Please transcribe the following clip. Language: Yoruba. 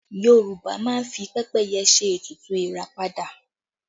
Yorùbá máa ń fi pẹ́pẹ́yẹ ṣe ètùtù ìràpadà